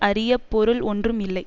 அறிய பொருள் ஒன்றும் இல்லை